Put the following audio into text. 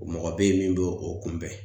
Mɔgɔ be yen min be o kunbɛn